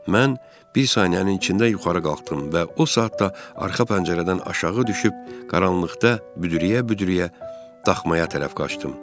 Mən bir saniyənin içində yuxarı qalxdım və o saatda arxa pəncərədən aşağı düşüb, qaranlıqda büdrəyə-büdrəyə daxmaya tərəf qaçdım.